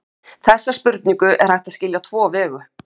Þessa spurningu er hægt að skilja á tvo vegu.